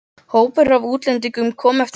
Hópur af útlendingum kom eftir götunni.